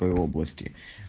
области